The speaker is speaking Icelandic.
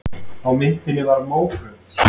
Á myndinni var mógröf.